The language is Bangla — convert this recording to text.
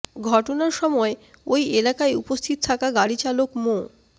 ঘটনার সময় ওই এলাকায় উপস্থিত থাকা গাড়ি চালক মো